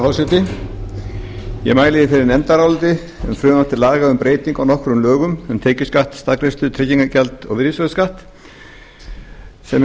herra forseti ég mæli hér fyrir nefndaráliti um frumvarp til laga um breytingar á nokkrum lögum um tekjuskatt staðgreiðslu tryggingagjald og virðisaukaskatt sem er